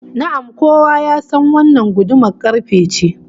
Na'am, kowa ya san wannan gudumar karfe ce